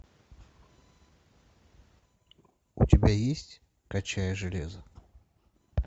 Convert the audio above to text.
у тебя есть качая железо